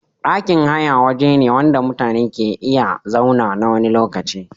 Ɗakin haya wajene wanda mutane ke iya zauna nawani lokacin